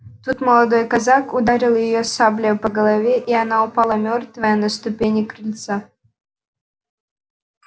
тут молодой казак ударил её саблею по голове и она упала мёртвая на ступени крыльца